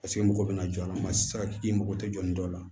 Paseke mɔgɔw bɛna jɔ a la ma sara i mako tɛ jɔ ni dɔ la